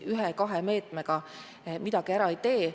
Ühe-kahe meetmega midagi ära ei tee.